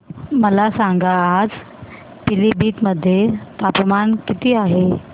मला सांगा आज पिलीभीत मध्ये तापमान किती आहे